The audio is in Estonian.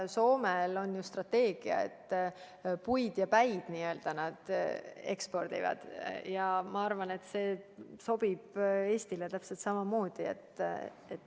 Soomel on ju strateegia, et nad ekspordivad n-ö puid ja päid ning ma arvan, et see sobib Eestile täpselt samamoodi.